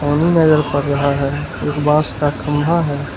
नदी नजर पड़ रहा है एक बॉस का खंभा है।